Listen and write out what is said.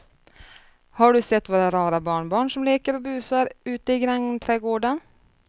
Har du sett våra rara barnbarn som leker och busar ute i grannträdgården!